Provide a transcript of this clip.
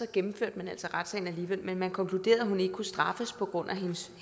gennemførte man altså retssagen alligevel men man konkluderede at hun ikke kunne straffes på grund af